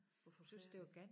Var forfærdeligt